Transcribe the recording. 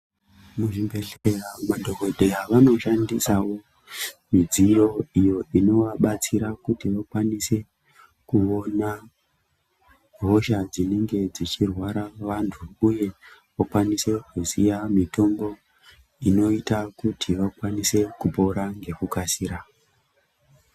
Muzvibhedhlera madhokodheya vanoshandisawo midziyo iyo inovabatsira kuti vakwanise kuona hosha dzinenge dzichirwara vantu uye vakwanise kuziya mitombo inoita kuti vakwanise kupona ngekukasira.